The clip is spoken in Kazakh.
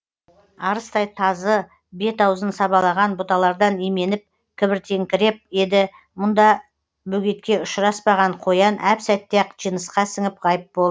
арыстай тазы бет аузын сабалаған бұталардан именіп кібіртіктеңкіреп еді мұндай бөгетке ұшыраспаған қоян әп сәтте ақ жынысқа сіңіп ғайып болды